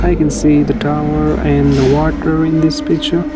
we can see the tower and water in this picture.